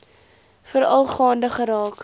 veral gaande geraak